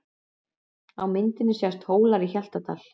Á myndinni sjást Hólar í Hjaltadal.